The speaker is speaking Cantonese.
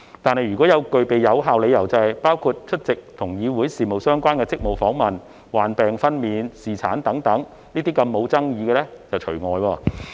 不過，若具備有效理由，包括出席與議會事務相關的職務訪問、患病、分娩及侍產等沒有爭議的理由則除外。